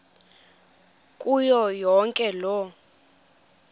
kuyo yonke loo